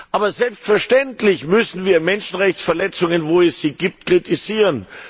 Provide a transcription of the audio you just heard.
Aber selbstverständlich müssen wir Menschenrechtsverletzungen, wo es sie gibt, kritisieren.